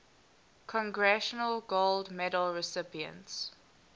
congressional gold medal recipients